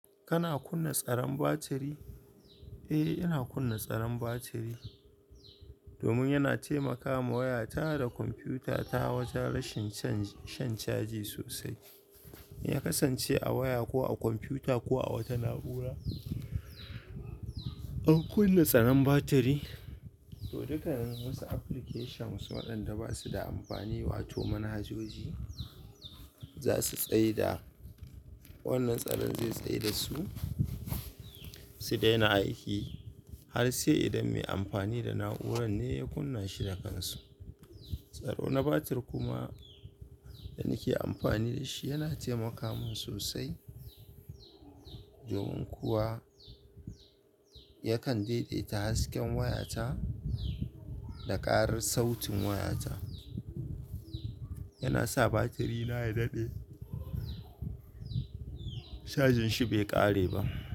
Kana kunna tsaron batiri? Eh, ina kunna tsaron batiri domin yana taimaka ma waya ta da kwamfuta ta wajen rashin shan caji sosai. Ya kasance a waya ko a kwamfuta ko a wata na'ura, an kunna tsanan batiri, to dukkan wasu applications waɗanda ba su da amfani wato manhajoji, za su tsai da wannan tsaron zai tsai da su, su daina aiki har sai idan mai amfani da na'urar ne ya kunna shi da kansu. Tsaro na batir kuma da nake amfani da shi yana taimaka min sosai domin kuwa yakan daidaita hasken waya ta da ƙarar sautin waya ta. Yana sa batiri na ya daɗe, cajin shi bai ƙare ba.